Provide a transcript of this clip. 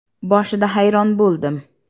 Boshida hayron bo‘ldim.